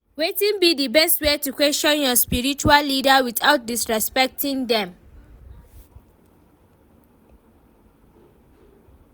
Wetin be di best way to question your spiritual leaders without disrespecting dem?